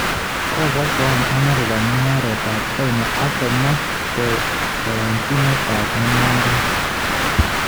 Kokosoan Amerika mung'aret ab China ak komach kayanchinetab mung'aret